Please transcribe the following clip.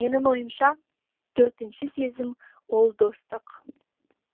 менің ойымша төртінші сезім ол достық